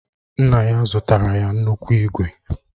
Nna ya zụtara ya nnukwu ígwè